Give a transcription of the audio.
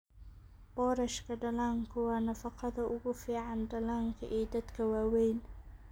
Boorashka dhallaanku waa nafaqada ugu fiican dhallaanka iyo dadka waaweyn.